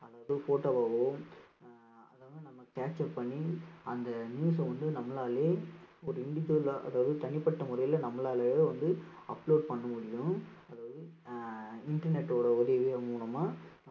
அல்லது photo வாவோ அஹ் அதாவது நம்ம capture பண்ணி அந்த news அ வந்து நம்மளாலேயே ஒரு individual ஆ அதாவது தனிப்பட்ட முறையில நம்மளாலேயே வந்து upload பண்ண முடியும் அதாவது ஆஹ் internet ஓட உதவி மூலமா